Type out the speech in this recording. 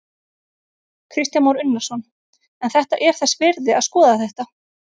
Kristján Már Unnarsson: En þetta er þess virði að skoða þetta?